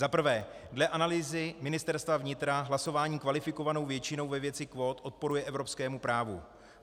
Za prvé, dle analýzy Ministerstva vnitra hlasování kvalifikovanou většinou ve věci kvót odporuje evropskému právu.